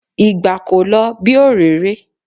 Ìgbà kò lo bí òréré.